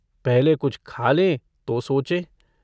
पहले कुछ खा ले तो सोचे।